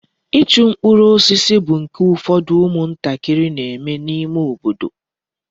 Ịchụ mkpụrụ osisi bụ nke ụfọdụ ụmụ ntakịrị na-eme n'ime obodo.